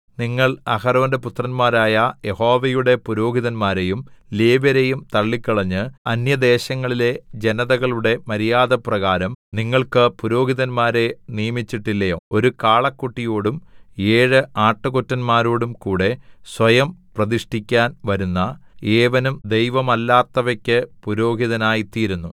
നിങ്ങൾ അഹരോന്റെ പുത്രന്മാരായ യഹോവയുടെ പുരോഹിതന്മാരെയും ലേവ്യരെയും തള്ളിക്കളഞ്ഞ് അന്യദേശങ്ങളിലെ ജനതകളുടെ മര്യാദപ്രകാരം നിങ്ങൾക്ക് പുരോഹിതന്മാരെ നിയമിച്ചിട്ടില്ലയോ ഒരു കാളക്കുട്ടിയോടും ഏഴു ആട്ടുകൊറ്റന്മാരോടും കൂടെ സ്വയം പ്രതിഷ്ഠിക്കാൻ വരുന്ന ഏവനും ദൈവമല്ലാത്തവയ്ക്ക് പുരോഹിതനായ്തീരുന്നു